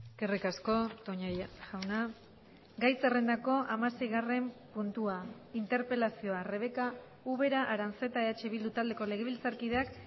eskerrik asko toña jauna gai zerrendako hamaseigarren puntua interpelazioa rebeka ubera aranzeta eh bildu taldeko legebiltzarkideak